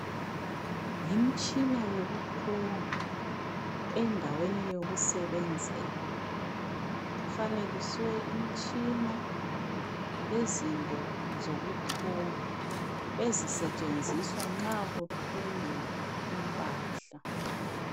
Yimtshina yokuthunga endaweni yokusebenzela, kufanekiswe imitshina lezinto zokuthunga ezisetshenziswa nxa kuthungwa impahla.